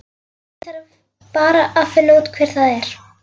Ég þarf bara að finna út hver það er.